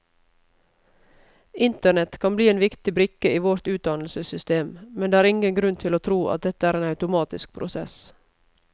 Internett kan bli en viktig brikke i vårt utdannelsessystem, men det er ingen grunn til å tro at dette er en automatisk prosess.